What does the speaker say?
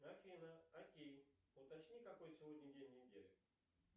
афина окей уточни какой сегодня день недели